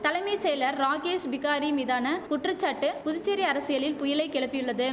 தலைமை செயலர் ராகேஷ் பிகாரி மீதான குற்றச்சாட்டு புதுச்சேரி அரசியலில் புயலை கெளப்பியுள்ளது